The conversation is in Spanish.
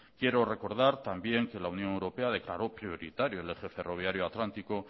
quiero recordar también que la unión europea declaró prioritario el eje ferroviario atlántico